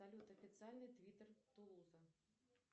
салют официальный твиттер тулуза